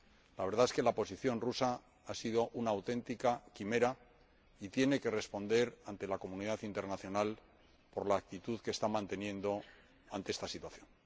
La verdad es que la posición rusa ha sido una auténtica quimera y tiene que responder ante la comunidad internacional por la actitud que está manteniendo ante esta situación.